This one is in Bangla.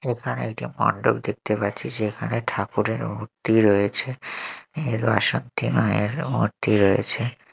এখানে একটি মণ্ডপ দেখতে পাচ্ছি সেখানে ঠাকুরের মুর্তি রয়েছে এর মা শক্তি মায়ের মুর্তি রয়েছে।